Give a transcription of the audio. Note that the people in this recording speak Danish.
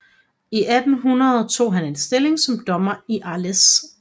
I 1800 tog han en stilling som dommer i Arles